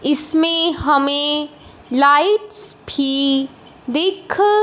इसमें हमें लाइट्स भी दिख--